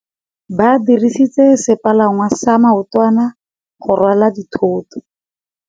Ba dirisitse sepalangwasa maotwana go rwala dithôtô.